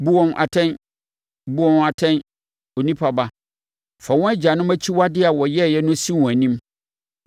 “Bu wɔn atɛn. Bu wɔn atɛn, onipa ba. Fa wɔn agyanom akyiwadeɛ a wɔyɛeɛ no si wɔn anim